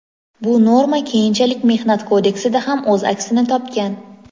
bu norma keyinchalik Mehnat kodeksida ham o‘z aksini topgan.